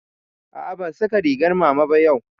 A'a ban saka rigar mama ba yau